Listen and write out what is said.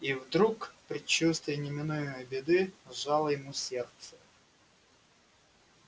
и вдруг предчувствие неминуемой беды сжало ему сердце